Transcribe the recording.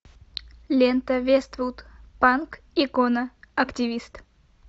лента вествуд панк икона активист